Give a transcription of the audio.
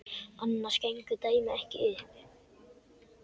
Annars gengur dæmið ekki upp.